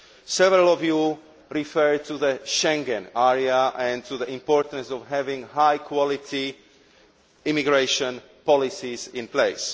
Several of you referred to the Schengen area and to the importance of having high quality immigration policies in place.